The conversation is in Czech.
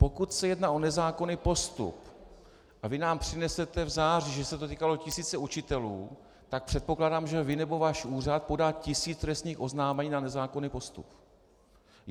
Pokud se jedná o nezákonný postup a vy nám přinesete v září, že se to týkalo tisíce učitelů, tak předpokládám, že vy nebo váš úřad podá tisíc trestních oznámení na nezákonný postup.